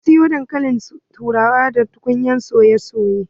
Na soya dankalin turawa da tukunyar soye soye.